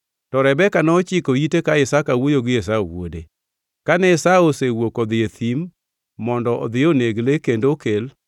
To Rebeka nochiko ite ka Isaka wuoyo gi wuode Esau. Kane Esau osewuok odhi e thim mondo odhi oneg le kendo okel,